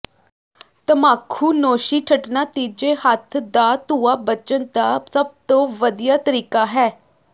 ਤਮਾਖੂਨੋਸ਼ੀ ਛੱਡਣਾ ਤੀਜੇ ਹੱਥ ਦਾ ਧੂੰਆਂ ਬਚਣ ਦਾ ਸਭ ਤੋਂ ਵਧੀਆ ਤਰੀਕਾ ਹੈ